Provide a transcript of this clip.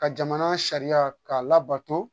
Ka jamana sariya k'a labato